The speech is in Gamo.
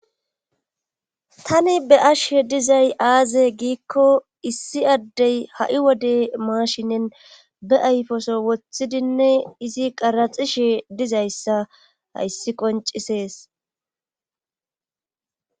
tani be'ashe dizay aaze giikko issi addey ha7i wode maashinen be ayfoso woththidinne izi qaraxishe dizayssa hayssi qoncisees